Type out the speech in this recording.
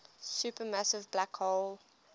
supermassive black hole